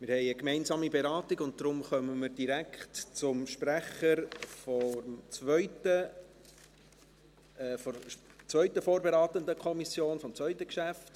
Wir haben eine gemeinsame Beratung und kommen deshalb direkt zum Sprecher der zweiten vorberatenden Kommission – nämlich der BaK – und des zweiten Geschäfts.